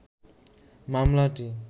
মামলাটি